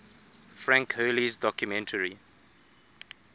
frank hurley's documentary